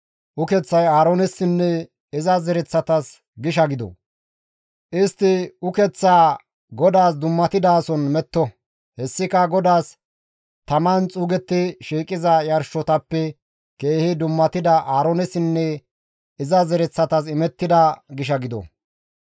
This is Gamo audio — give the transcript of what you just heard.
Ukeththay Aaroonessinne iza zereththatas gisha gido; istti ukeththaa GODAAS dummatidason metto; hessika GODAAS taman xuugetti shiiqiza yarshotappe keehi dummatida Aaroonessinne iza zereththatas imettida gisha gido.»